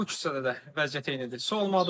Bu küçədə də vəziyyət eynidir.